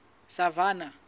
savannah